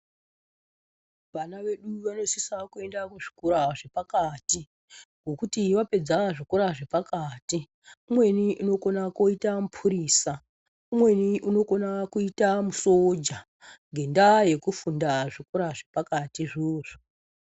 Vana vedu vanosisa kuenda kuzvikora zvepakati ngokuti vapedza zvikora zvepakati umweni anokona kuita mupurisa umweni anokona kuita musoja nenyaya yekufunda zvikora zvepakati izvozvo.